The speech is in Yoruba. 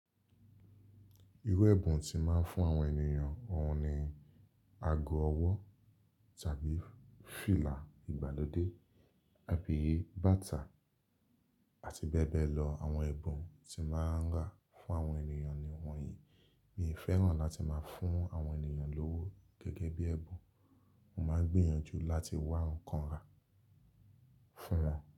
Irú ẹ̀bùn tí mo máa ń fún àwọn ènìyàn, òun ni ago ọwọ́ tàbí fìlà ìgbàlódé, àbí, bàtà, àti bẹ́ẹ̀ bẹ́ẹ̀ lọ. Àwọn ẹ̀bùn tí máa ń rà fún àwọn ènìyàn ni wọ̀nyí. Mi ò fẹ́ràn láti máa ń fún àwọn ènìyàn lówó gẹ́gẹ́ bí ẹ̀bùn, mo máa ń gbìyànjú láti wá nǹkan rà fún wọn.